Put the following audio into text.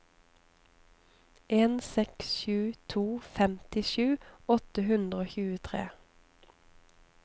en seks sju to femtisju åtte hundre og tjuetre